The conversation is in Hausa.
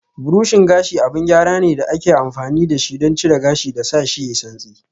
Burushin gashi abin gyara ne da ake amfani da shi don cire gashi da sashi yayi santsi.